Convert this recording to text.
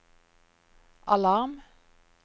alarm